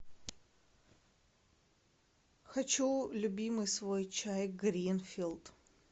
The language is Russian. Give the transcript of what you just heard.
хочу любимый свой чай гринфилд